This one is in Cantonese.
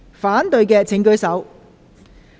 反對的請舉手。